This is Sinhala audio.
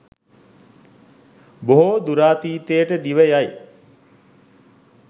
බොහෝ දුරාතීතයට දිව යයි.